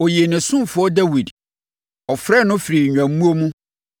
Ɔyii ne ɔsomfoɔ Dawid; ɔfrɛɛ no firii nnwammuo mu